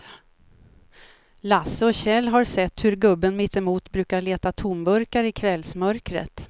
Lasse och Kjell har sett hur gubben mittemot brukar leta tomburkar i kvällsmörkret.